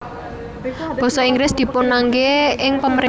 Basa Inggris dipunangge ing pamarentahan